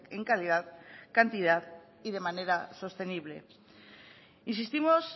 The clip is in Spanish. en calidad cantidad y de manera sostenible insistimos